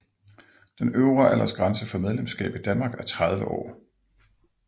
Den øvre aldersgrænse for medlemskab i Danmark er 30 år